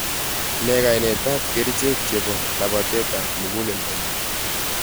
Nee kainet ap kercheeck chepo labateet ap muguleldonyuu.